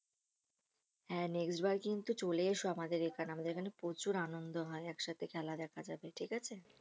হ্যাঁ next বার কিন্তু চলে এসো আমাদের এখানে, আমাদের এখানে প্রচুর আনন্দ হয় একসাথে খেলা দেখা যাবে, ঠিক আছে